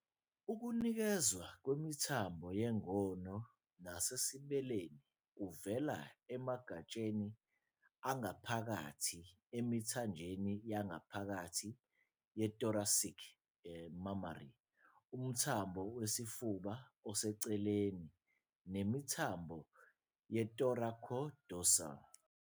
Ukunikezwa kwemithambo yengono nasesibeleni kuvela emagatsheni angaphakathi angaphakathi emithanjeni yangaphakathi ye-thoracic, mammary, umthambo wesifuba oseceleni, nemithambo ye-thoracodorsal.